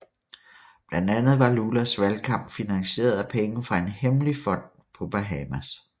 Blandt andet var Lulas valgkamp finansieret af penge fra en hemmelig fond på Bahamas